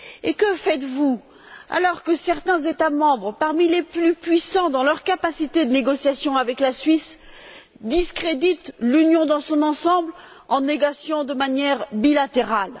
Que faites vous, alors que certains États membres parmi les plus puissants dans leur capacité de négociation avec la Suisse discréditent l'Union dans son ensemble en négociant de manière bilatérale?